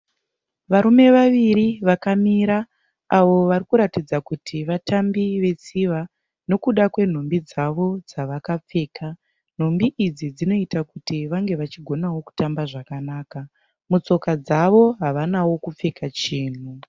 Varume vaviri vakamira avo varikuratidza kuti vatambi vetsiva, nokuda kwenhumbi dzavo dzavakapfeka. Nhumbi idzi dzinoita kuti vange vachigonawo kutamba zvakanaka. Mutsoka dzavo havanawo kupfeka chinhu.